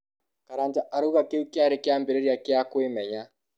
Karanja arauga kĩu kĩarĩ kĩambĩrĩria kĩa kũĩmenya